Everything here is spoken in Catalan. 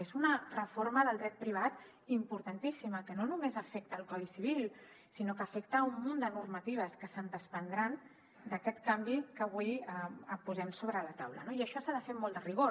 és una reforma del dret privat importantíssima que no només afecta el codi civil sinó que afecta un munt de normatives que se’n desprendran d’aquest canvi que avui posem sobre la taula no i això s’ha de fer amb molt de rigor